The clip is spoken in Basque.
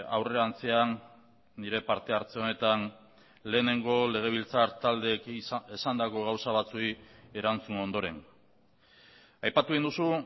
aurrerantzean nire parte hartze honetan lehenengo legebiltzar taldeek esandako gauza batzuei erantzun ondoren aipatu egin duzu